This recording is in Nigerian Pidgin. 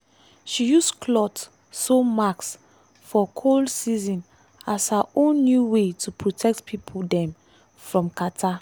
she use cloth sew mask for cold season as her own new way to protect pipo um from catarrh.